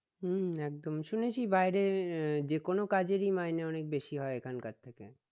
হম একদমই শুনেছি বাইরে আহ যে কোনো কাজেরই মাইনে অনেক বেশি হয় এখানকার থেকে